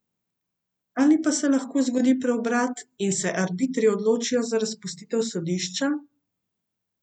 Ali pa se lahko zgodi preobrat in se arbitri odločijo za razpustitev sodišča?